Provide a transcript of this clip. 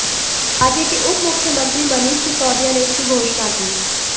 राज्य के उपमुख्यमंत्री मनीष सिसोदिया ने इसकी घोषणा की